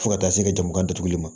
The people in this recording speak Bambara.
Fo ka taa se jagokan datuguli ma